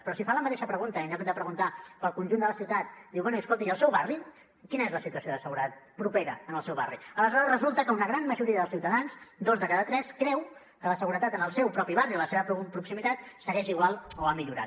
però si fa la mateixa pregunta i en lloc de preguntar pel conjunt de la ciutat diu bé i escolti al seu barri quina és la situació de seguretat propera en el seu barri aleshores resulta que una gran majoria dels ciutadans dos de cada tres creu que la seguretat en el seu propi barri i la seva proximitat segueix igual o ha millorat